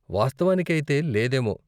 వాస్తవానికైతే లేదేమో.